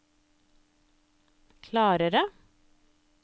klarere